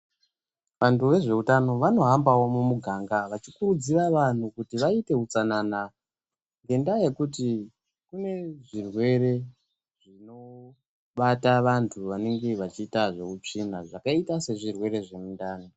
Vantu vezveutano vanohambawo mumuganga vachikurudzira vanhu kuti vaite utsanana ngendaa yekuti kune zvirwere zvinobata vanhu vanenge vachiita zveutsvina zvakaita sezvirwere zvemundani.